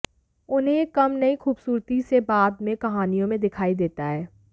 उन्हें यह कम नहीं खूबसूरती से बाद में कहानियों में दिखाई देता है